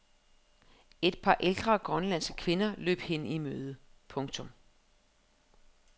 Et par ældre grønlandske kvinder løb hende i møde. punktum